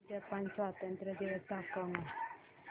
Japan स्वातंत्र्य दिवस दाखव ना